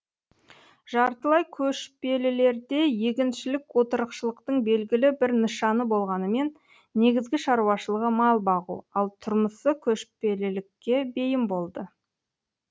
жартылай көшпелілерде егіншілік отырықшылықтың белгілі бір нышаны болғанымен негізгі шаруашылығы мал бағу ал тұрмысы көшпелілікке бейім болды